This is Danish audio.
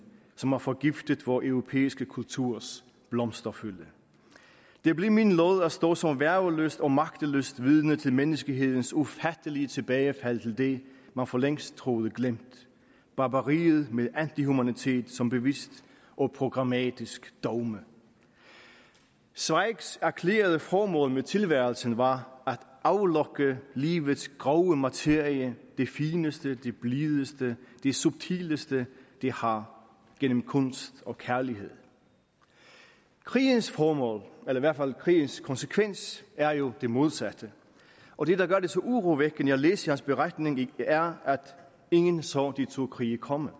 som har forgiftet vor europæiske kulturs blomsterfylde det blev min lod at stå som værgeløst og magtesløst vidne til menneskehedens ufattelige tilbagefald til det man forlængst troede glemt barbariet med antihumanitet som bevidst og programmatisk dogme zweigs erklærede formål med tilværelsen var at aflokke livets grove materie det fineste det blideste det subtileste det har gennem kunst og kærlighed krigens formål eller i hvert fald krigens konsekvens er jo det modsatte og det der gør det så urovækkende at læse hans beretning er at ingen så de to krige komme